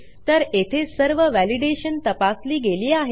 तर येथे सर्व व्हॅलिडेशन तपासली गेली आहे